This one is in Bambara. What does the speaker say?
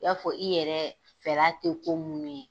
I y'a fɔ i yɛrɛ fɛla te ko munnu ye.